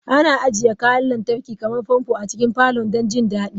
Ana ajiye kayan lantarki kamar fanfo a cikin falon don jin daɗi.